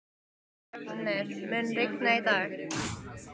Reifnir, mun rigna í dag?